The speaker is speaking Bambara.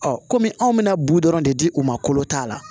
kɔmi anw bɛna bu dɔrɔn de di u ma kolo ta la